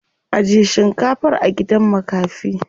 Ajiye shinkafar a gidan makafi.